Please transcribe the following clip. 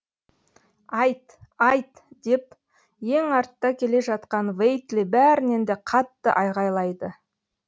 айт айт деп ең артта келе жатқан вейтли бәрінен де қатты айғайлайды